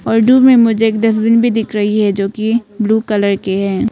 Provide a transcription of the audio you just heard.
और दूर में मुझे एक डस्टबिन भी दिख रही है जो कि ब्लू कलर के हैं।